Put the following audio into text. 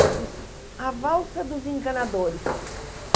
Eu disse, a valsa dos encanadores.